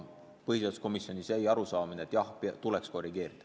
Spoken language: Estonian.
Põhiseaduskomisjonis oli arusaam, et jah, tuleks korrigeerida.